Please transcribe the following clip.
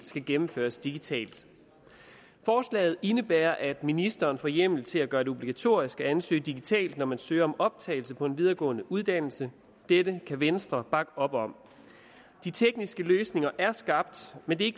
skal gennemføres digitalt forslaget indebærer at ministeren får hjemmel til at gøre det obligatorisk at ansøge digitalt når man søger om optagelse på en videregående uddannelse dette kan venstre bakke op om de tekniske løsninger er skabt men det